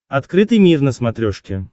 открытый мир на смотрешке